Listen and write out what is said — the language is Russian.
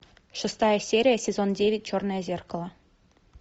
шестая серия сезон девять черное зеркало